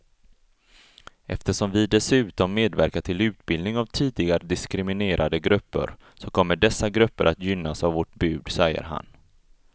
Eftersom vi dessutom medverkar till utbildning av tidigare diskriminerade grupper så kommer dessa grupper att gynnas av vårt bud, säger han.